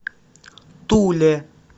туле